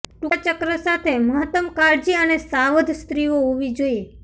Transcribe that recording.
ટૂંકા ચક્ર સાથે મહત્તમ કાળજી અને સાવધ સ્ત્રીઓ હોવી જોઈએ